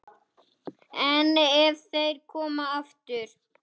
En ef þeir koma aftur?